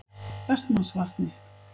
Vestmannsvatni